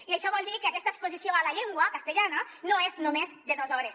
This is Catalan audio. i això vol dir que aquesta exposició a la llengua castellana no és només de dos hores